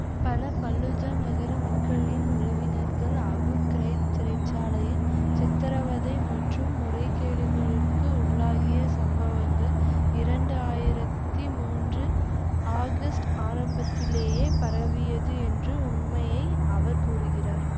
பல பல்லூஜா நகர மக்களின் உறவினர்கள் அபு கிரைப் சிறை சாலையில் சித்தரவதை மற்றும் முறைகேடுகளுக்கு உள்ளாகிய சம்பவங்கள் இரண்டு ஆயிரத்தி மூன்று ஆகஸ்ட் ஆரம்பத்திலேயே பரவியது என்று உண்மையை அவர் கூறுகிறார்